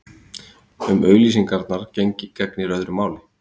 Um auglýsingar gegnir öðru máli.